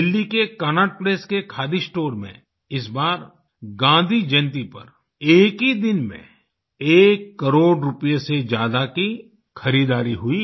दिल्ली के Connaught Place के khadi store में इस बार गाँधी जयंती पर एक ही दिन में एक करोड़ रुपये से ज्यादा की खरीदारी हुई